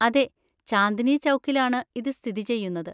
അതെ, ചാന്ദ്‌നി ചൗക്കിലാണ് ഇത് സ്ഥിതി ചെയ്യുന്നത്.